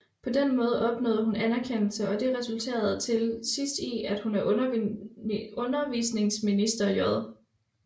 På denne måde opnåede hun anerkendelse og det resulterede til sidst i at hun af undervisningsminister J